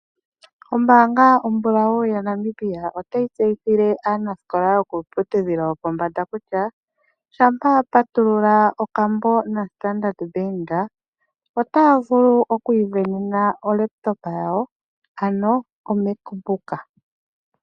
Ombaanga ombulawu ya Namibia otayi tseyithile aanasikola yokiiputudhilo yo pombanda kutya, shampa wa patulula okambo na Standard Bank, otaya vulu oku ivenena o laptop yawo ano o mac book.